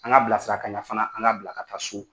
An ka bilasira kaɲa fana an ka bila ka taa so